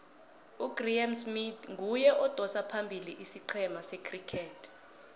ugraeme smith nguye odosa phambili isicema secriket